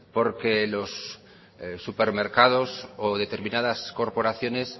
porque a los supermercados o determinadas corporaciones